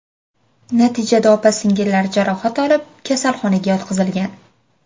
Natijada opa-singillar jarohat olib kasalxonaga yotqizilgan.